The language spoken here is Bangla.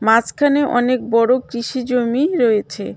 মাঝখানে অনেক বড় কৃষি জমি রয়েছে.